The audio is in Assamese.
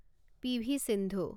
পি.ভি. সিন্ধু